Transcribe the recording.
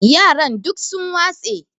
yaran duk sun watse